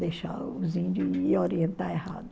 Deixar os índios orientar errado.